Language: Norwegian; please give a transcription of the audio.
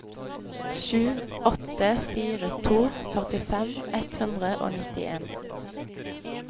sju åtte fire to førtifem ett hundre og nittien